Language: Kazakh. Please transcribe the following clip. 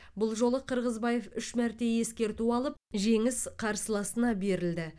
бұл жолы қырғызбаев үш мәрте ескерту алып жеңіс қарсыласына берілді